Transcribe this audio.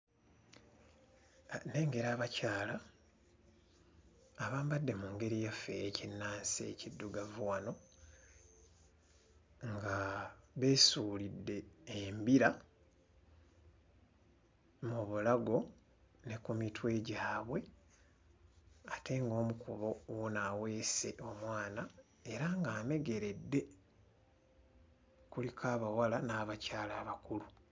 Nnengera abakyala abambadde mu ngeri yaffe ey'ekinnansi ekiddugavu wano nga beesuulidde embira mu bulago ne ku mitwe gyabwe ate ng'omu ku bo wuuno aweese omwana era ng'amegeredde. Kuliko abawala n'abakyala abakulu.